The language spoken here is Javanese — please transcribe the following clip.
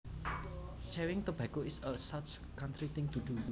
Chewing tobacco is a such a country thing to do